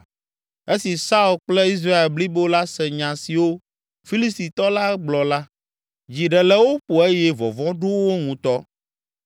Esi Saul kple Israel blibo la se nya siwo Filistitɔ la gblɔ la, dzi ɖe le wo ƒo eye vɔvɔ̃ ɖo wo ŋutɔ.